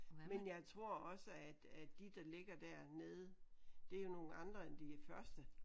Men jeg tror også at at de der ligger dernede det er jo nogle andre end de første